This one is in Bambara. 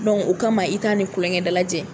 o kama i t'a ni tulonkɛ dalajɛ